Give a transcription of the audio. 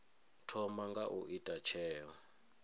thoma nga u ita tsheo